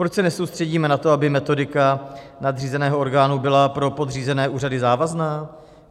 Proč se nesoustředíme na to, aby metodika nadřízeného orgánu byla pro podřízené úřady závazná?